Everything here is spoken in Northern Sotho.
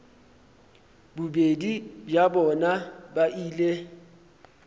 bobedi bja bona ba ile